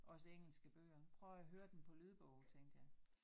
Også engelske bøger. Prøv at høre den på lydbog tænkte jeg